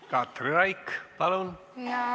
Katri Raik, palun!